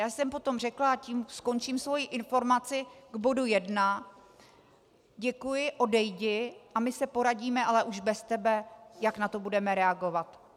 Já jsem potom řekla, a tím skončím svoji informaci k bodu jedna: Děkuji, odejdi a my se poradíme, ale už bez tebe, jak na to budeme reagovat.